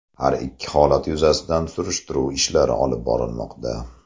Har ikki holat yuzasidan surishtiruv ishlari olib borilmoqda.